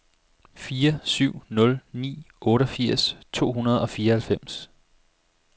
fire syv nul ni otteogfirs to hundrede og fireoghalvfems